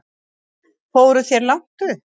Fóruð þér langt upp?